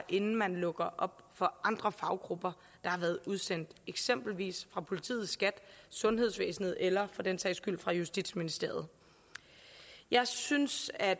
inden man lukker op for andre faggrupper der har været udsendt eksempelvis fra politiet skat sundhedsvæsenet eller for den sags skyld fra justitsministeriet jeg synes at